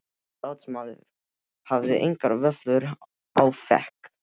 Ráðsmaður hafði engar vöflur á, fékk